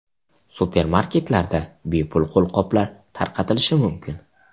Supermarketlarda bepul qo‘lqoplar tarqatilishi mumkin.